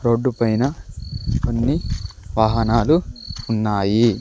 Road పైన కొన్ని వాహనాలు ఉన్నాయి.